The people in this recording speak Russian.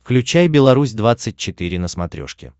включай беларусь двадцать четыре на смотрешке